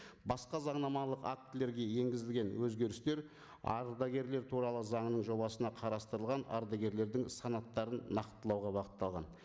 басқа заңнамалық актілерге енгізілген өзгерістер ардагерлер туралы заңының жобасына қарастырылған ардагерлердің санаттарын нақтылауға бағытталған